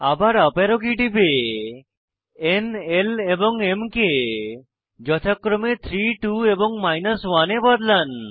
আবার up arrow key টিপে ন l এবং m কে যথাক্রমে 3 2 এবং 1 এ বদলান